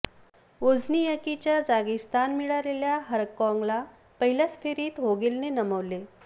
वोझ्नियाकीच्या जागी स्थान मिळालेल्या हरकॉगला पहिल्याच फेरीत व्होगेलने नमविले